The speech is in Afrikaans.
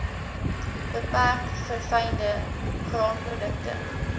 beperk verfynde graanprodukte